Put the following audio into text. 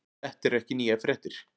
Þetta eru ekki nýjar fréttir